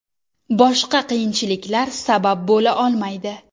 Boshqa qiyinchiliklar sabab bo‘la olmaydi.